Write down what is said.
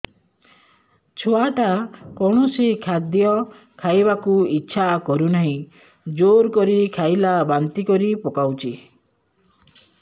ଛୁଆ ଟା କୌଣସି ଖଦୀୟ ଖାଇବାକୁ ଈଛା କରୁନାହିଁ ଜୋର କରି ଖାଇଲା ବାନ୍ତି କରି ପକଉଛି